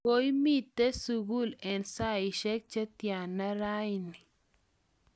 koimite sukul eng' saisiek che tyana rauni?